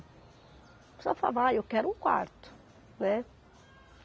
Só falava, ai, eu quero um quarto, né.